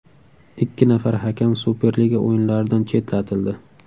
Ikki nafar hakam Superliga o‘yinlaridan chetlatildi.